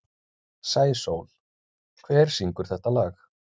Sæsól, hver syngur þetta lag?